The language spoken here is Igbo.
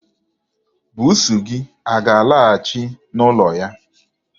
Buusu gị a ga-alaghachị n'ụlọ ya?